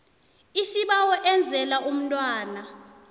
isibawo enzela umntwana